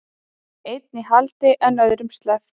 Einn í haldi en öðrum sleppt